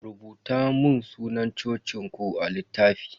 Rubuta mun sunan cocin ku a littafi.